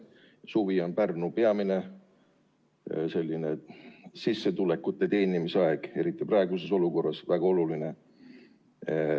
Suvi on Pärnus peamine sissetuleku teenimise aeg, eriti praeguses olukorras on see väga oluline.